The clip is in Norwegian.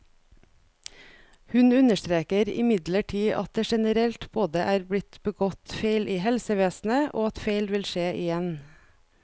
Hun understreker imidlertid at det generelt både er blitt begått feil i helsevesenet, og at feil vil skje igjen.